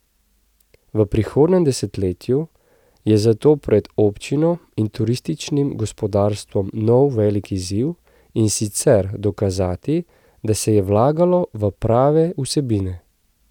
V prihodnjem desetletju je zato pred občino in turističnim gospodarstvom nov velik izziv, in sicer dokazati, da se je vlagalo v prave vsebine.